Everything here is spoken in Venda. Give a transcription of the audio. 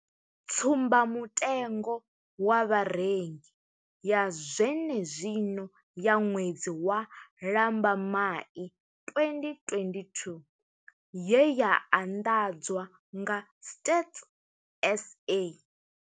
Tsumba mutengo wa Vharengi ya zwene zwino ya ṅwedzi wa Lambamai 2022 ye ya anḓadzwa nga Stats SA.